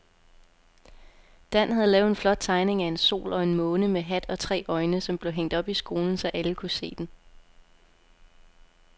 Dan havde lavet en flot tegning af en sol og en måne med hat og tre øjne, som blev hængt op i skolen, så alle kunne se den.